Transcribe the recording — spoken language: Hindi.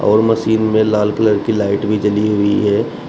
और मशीन में लाल कलर की लाइट भी जली हुई है।